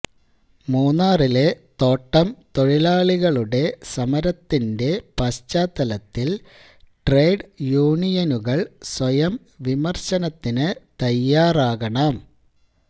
മൂന്നാറിലെ തോട്ടം തൊഴിലാളികളുടെ സമരത്തിന്റെ പശ്ചാത്തലത്തില് ട്രേഡ് യൂണിയനുകള് സ്വയം വിമര്ശനത്തിനു തയാറാകണം